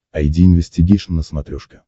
айди инвестигейшн на смотрешке